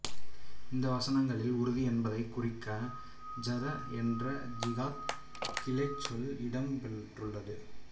இந்த வசனங்களில் உறுதி என்பதை குறிக்க ஜஹத என்ற ஜிகாத் கிளைச் சொல் இடம்பெற்றுள்ளது